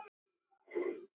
Ég settist upp á hjólið.